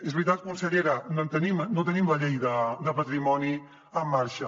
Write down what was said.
és veritat consellera no tenim la llei de patrimoni en marxa